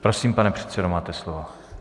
Prosím, pane předsedo, máte slovo.